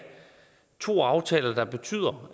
to aftaler der betyder